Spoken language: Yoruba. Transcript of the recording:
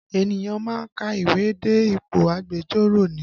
Ènìyàn má ń ka ìwé dé ipò agbẹjọ́rò ni